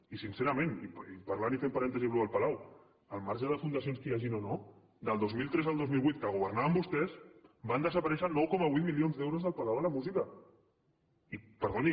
i sincerament i parlant i fent parèntesi amb això del palau al marge de fundacions que hi hagi o no del dos mil tres al dos mil vuit que governaven vostès van desaparèixer nou coma vuit milions d’euros del palau de la música i perdoni